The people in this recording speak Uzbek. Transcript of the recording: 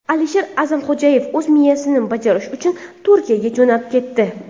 Alisher A’zamxo‘jayev o‘z missiyasini bajarish uchun Turkiyaga jo‘nab ketdi.